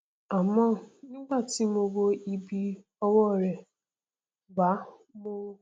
àmọ nígbà tí mo wo ibi ọwọ rẹ wà mo